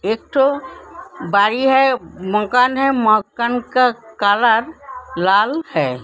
एक ठो बारी है मकान है मकान का कलर लाल है।